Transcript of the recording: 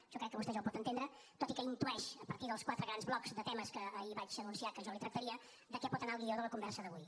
jo crec que vostè això ho pot entendre tot i que intueix a partir dels quatre grans blocs de temes que ahir vaig anunciar que jo li tractaria de què pot anar el guió de la conversa d’avui